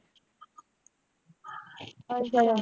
ਅੱਛਾ।